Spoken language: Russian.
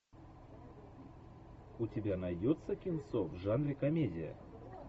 у тебя найдется кинцо в жанре комедия